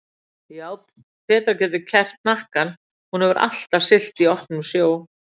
Já, Petra getur kerrt hnakkann, hún hefur alltaf siglt í opnum sjó.